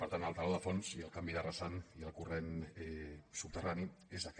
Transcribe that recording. per tant el teló de fons i el canvi de rasant i el corrent subterrani és aquest